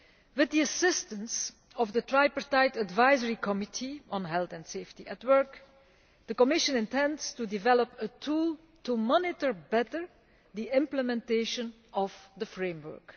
With the assistance of the Tripartite Advisory Committee on Health and Safety at Work, the Commission intends to develop a tool to monitor better the implementation of the framework.